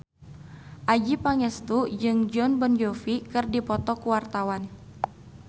Adjie Pangestu jeung Jon Bon Jovi keur dipoto ku wartawan